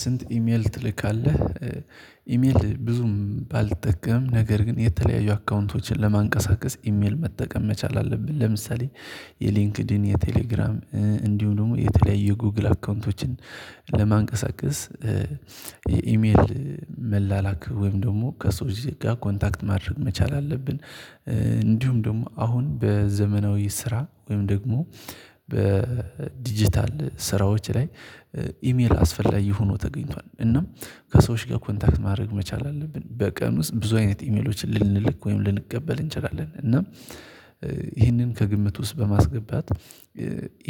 ስንት? ኢሜል ትልካለህ ኢሜል ብዙም ባልጠቀም ነገር ግን የተለያዩ አካውንቶችን ለማንቀሳቀስ ኢሜል መጠቀም መቻል አለብን። ለምሳሌ የሊንክድኢን የቴሌግራም እንዲሁም ደግሞ የተለያየ ጉግል አካውንቶችን ለማንቀሳቀስ የኢሜል መላላክ ወይም ደግሞ ከሰውች ጋ ኮንታክት ማድረግ መቻል አለብን። እንዲሁም ደግሞ አሁን በዘመናዊ ስራ ወይም ደግሞ በዲጂታል ስራዎች ላይ ኢሜል አስፈላጊ ሆኖ ተገኝቷል። እናም ከሰዎች ጋር ኮንታክት ማድረግ መቻል አለብን በቀን ውስጥ ብዙ አይነት ኢሜሎችን ልንልክ ወይም ልንቀበል እንችላለን። እና ይሄንን ከግምት ውስጥ በማስገባት